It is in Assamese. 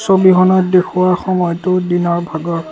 ছবিখনত দেখুওৱা সময়টো দিনৰ ভাগৰ।